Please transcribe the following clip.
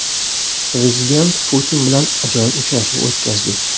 Prezident Putin bilan ajoyib uchrashuv o‘tkazdik.